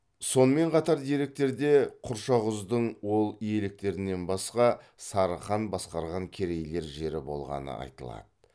сонымен қатар деректерде құршақұздың ол иеліктерінен басқа сары хан басқарған керейлер жері болғаны айтылады